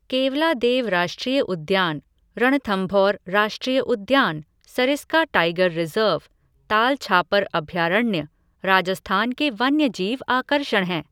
केवलादेव राष्ट्रीय उद्यान, रणथंभौर राष्ट्रीय उद्यान, सरिस्का टाइगर रिज़र्व, ताल छापर अभयारण्य, राजस्थान के वन्यजीव आकर्षण हैं।